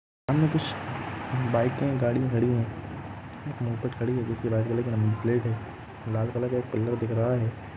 सामने कुछ बाइकें गाड़ियाॅं खड़ी है लाल कलर का एक पिलर दिख रहा है।